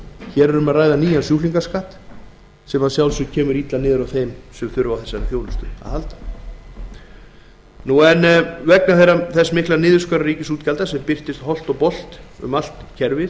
hér er um að ræða nýjan sjúklingaskatt sem að sjálfsögðu kemur illa niður á þeim sem þurfa á þessari þjónustu að halda vegna þess mikla niðurskurðar ríkisútgjalda sem birtist holt og bolt um allt kerfið